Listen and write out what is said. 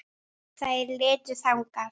Segðu mér það.